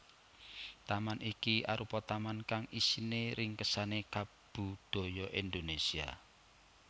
Taman iki arupa taman kang isine ringkesane kabudaya Indonésia